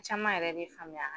Caman yɛrɛ be faamuya an